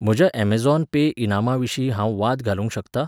म्हज्या Amazon Pay इनामां विशीं हांव वाद घालूंक शकता?